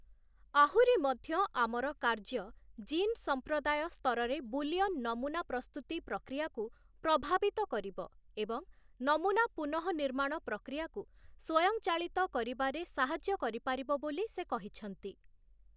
ଆହୁରି ମଧ୍ୟ, ଆମର କାର୍ଯ୍ୟ ଜିନ୍-ସମ୍ପ୍ରଦାୟ ସ୍ତରରେ ବୁଲିୟନ୍ ନମୁନା ପ୍ରସ୍ତୁତି ପ୍ରକ୍ରିୟାକୁ ପ୍ରଭାବିତ କରିବ ଏବଂ ନମୁନା ପୁନଃନିର୍ମାଣ ପ୍ରକ୍ରିୟାକୁ ସ୍ୱୟଂଚାଳିତ କରିବାରେ ସାହାଯ୍ୟ କରିପାରିବ ବୋଲି ସେ କହିଛନ୍ତି ।